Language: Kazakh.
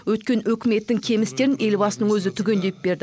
өткен үкіметтің кем істерін елбасының өзі түгендеп берді